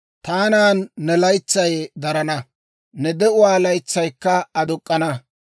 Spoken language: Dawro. Taanan ne laytsay darana; ne de'uwaa laytsaykka aduk'k'ana.